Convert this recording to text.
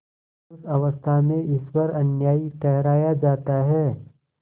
उस अवस्था में ईश्वर अन्यायी ठहराया जाता है